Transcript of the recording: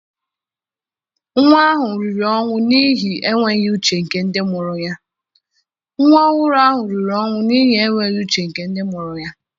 Nwa ọhụrụ ahụ riri ọnwụ n'ihi enweghị uche nke ndị mụrụ ya.